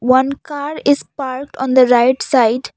one car is park on the right side.